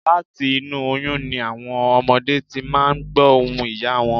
Láti inú oyún ni àwọn ọmọdé ti máà ń gbọ̀ ohùn ìyá wọn